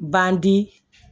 Bandi